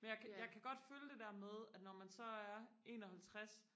men jeg kan jeg kan godt følge det der med at når man så er enoghalvtres